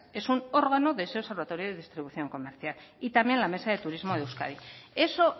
es un órgano de ese observatorio de distribución comercial y también la mesa de turismo de euskadi eso